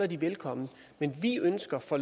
de velkomne vi ønsker at få